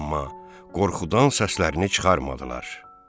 Amma qorxudan səslərini çıxarmadılar.